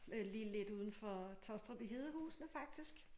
Øh lige lidt udenfor Taastrup i Hedehusene faktisk